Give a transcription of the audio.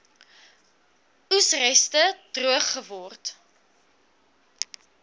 oesreste droog geword